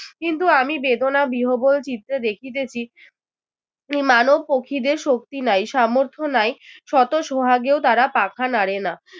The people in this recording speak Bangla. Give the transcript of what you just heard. কিন্তু আমি বেদনা বিহ্বল চিত্রে দেখিতেছি মানব পক্ষী দের শক্তি নাই সামর্থ নাই শত সোহাগেও তারা পাখা নাড়ে না।